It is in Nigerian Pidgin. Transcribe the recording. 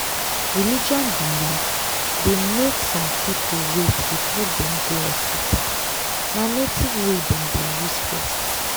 religion belief dey make some people wait before dem go hospital na native way dem dey use first.